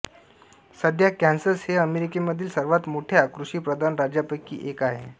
सध्या कॅन्सस हे अमेरिकेमधील सर्वात मोठ्या कृषीप्रधान राज्यांपैकी एक आहे